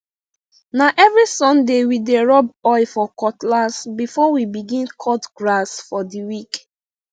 na every sunday we dey rub oil for cutlass before we begin cut grass for the week